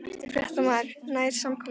Fréttamaður: Nær samkomulag?